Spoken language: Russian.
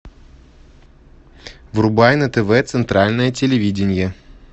врубай на тв центральное телевидение